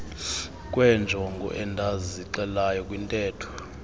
kweenjongo endazixelayo kwintetho